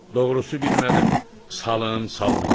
Doğrusu bilmədim salım, salmayım.